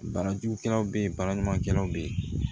Bana jugukɛlaw be yen baara ɲumankɛlaw be yen